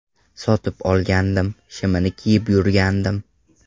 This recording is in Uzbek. Sotib olgandim, shimini kiyib yurgandim.